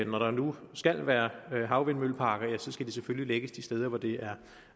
når der nu skal være havvindmølleparker skal de selvfølgelig lægges de steder hvor det er